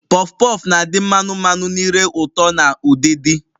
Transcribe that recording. Pọf pọf na adị mmanu mmanu na ire ụtọ na udidi